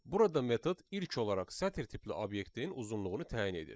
Burada metod ilk olaraq sətr tipli obyektin uzunluğunu təyin edir.